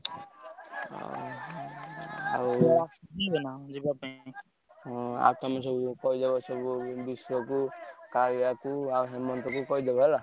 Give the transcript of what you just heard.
ଆଉ ଆଉ ତମେ ସବୁ କହିଦବସବୁ ବିଶ୍ବକୁ କୁ ଆଉ ହେମନ୍ତକୁ କହିଦବ ହେଲା।